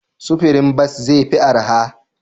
Sufurin bas zai fi arha?